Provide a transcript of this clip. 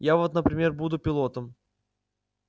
я вот например буду пилотом